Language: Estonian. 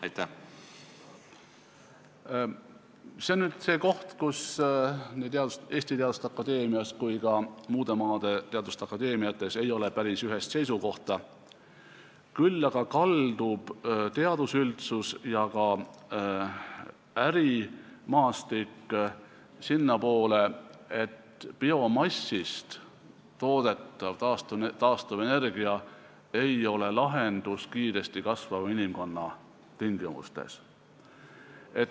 See on nüüd see koht, kus nii Eesti Teaduste Akadeemias kui ka muude maade teaduste akadeemiates ei ole päris ühest seisukohta, küll aga kaldub teadusüldsus ja ka ärimaastik sinnapoole, et biomassist toodetav taastuvenergia ei ole lahendus kiiresti kasvava inimkonna tingimustes.